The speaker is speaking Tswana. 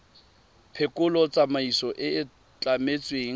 phekolo tsamaiso e e tlametsweng